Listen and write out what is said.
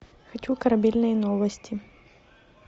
хочу корабельные новости